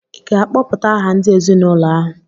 ị ga-akpọpụta aha ndị ezinụlọ ahụ?